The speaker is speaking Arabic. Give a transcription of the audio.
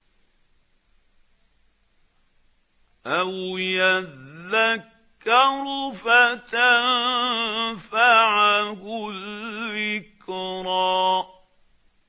أَوْ يَذَّكَّرُ فَتَنفَعَهُ الذِّكْرَىٰ